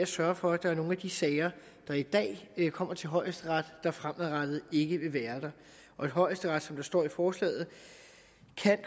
sørger for at nogle af de sager der i dag kommer til højesteret fremadrettet ikke vil være der højesteret som der står i forslaget